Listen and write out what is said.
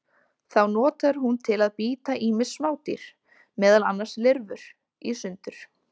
Þá notar hún til að bíta ýmis smádýr, meðal annars lirfur, í sundur.